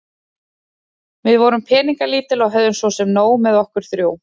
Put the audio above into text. Við vorum peningalítil og höfðum svo sem nóg með okkur þrjú.